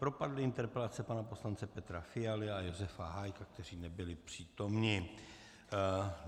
Propadly interpelace pana poslance Petra Fialy a Josefa Hájka, kteří nebyli přítomni.